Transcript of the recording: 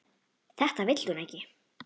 Þetta vill hún ekki.